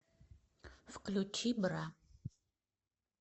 включи бра